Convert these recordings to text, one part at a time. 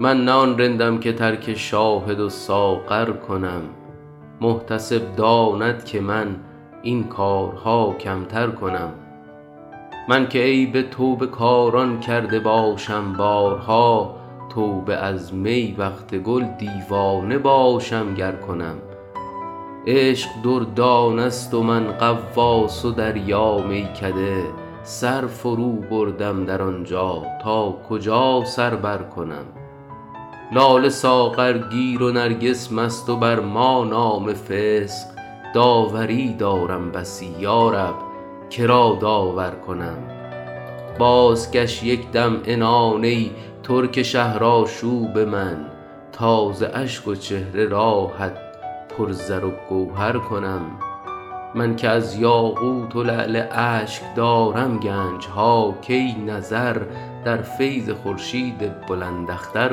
من نه آن رندم که ترک شاهد و ساغر کنم محتسب داند که من این کارها کمتر کنم من که عیب توبه کاران کرده باشم بارها توبه از می وقت گل دیوانه باشم گر کنم عشق دردانه ست و من غواص و دریا میکده سر فروبردم در آن جا تا کجا سر برکنم لاله ساغرگیر و نرگس مست و بر ما نام فسق داوری دارم بسی یا رب که را داور کنم بازکش یک دم عنان ای ترک شهرآشوب من تا ز اشک و چهره راهت پر زر و گوهر کنم من که از یاقوت و لعل اشک دارم گنج ها کی نظر در فیض خورشید بلنداختر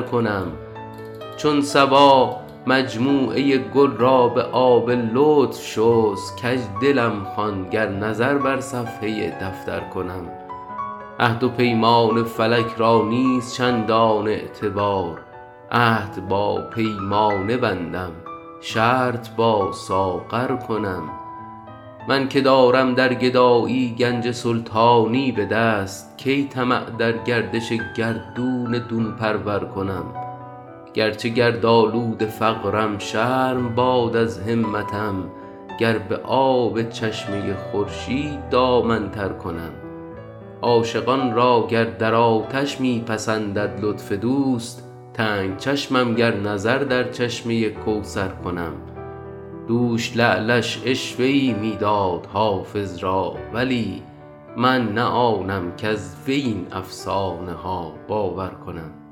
کنم چون صبا مجموعه گل را به آب لطف شست کج دلم خوان گر نظر بر صفحه دفتر کنم عهد و پیمان فلک را نیست چندان اعتبار عهد با پیمانه بندم شرط با ساغر کنم من که دارم در گدایی گنج سلطانی به دست کی طمع در گردش گردون دون پرور کنم گر چه گردآلود فقرم شرم باد از همتم گر به آب چشمه خورشید دامن تر کنم عاشقان را گر در آتش می پسندد لطف دوست تنگ چشمم گر نظر در چشمه کوثر کنم دوش لعلش عشوه ای می داد حافظ را ولی من نه آنم کز وی این افسانه ها باور کنم